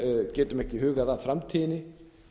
getum ekki hugað að framtíðinni